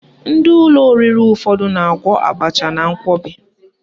Ndị ụlọ oriri ụfọdụ na-agwọ abacha na nkwọbi